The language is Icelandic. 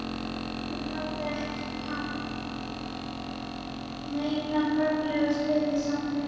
Hún hafði ekki haft neina formlega stöðu í samfélaginu.